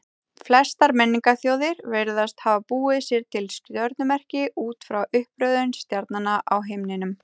Flestar menningarþjóðir virðast hafa búið sér til stjörnumerki út frá uppröðun stjarnanna á himninum.